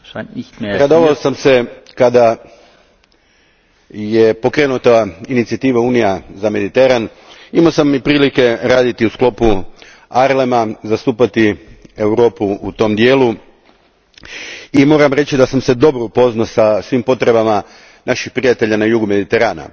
Gospodine predsjedniče, radovao sam se kada je pokrenuta inicijativa Unija za Mediteran, imao sam i prilike raditi u sklopu ARLEM a, zastupati Europu u tom dijelu i moram reći da sam se dobro upoznao sa svim potrebama naših prijatelja na jugu Mediterana.